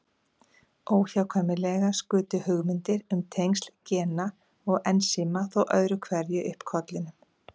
Óhjákvæmilega skutu hugmyndir um tengsl gena og ensíma þó öðru hverju upp kollinum.